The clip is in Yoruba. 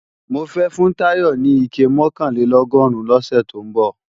Mofẹ́ fún Táyọ̀ ní ike mọ̀kànlélọ́gọ́rùn lọ́sẹ̀ tó ń bọ̀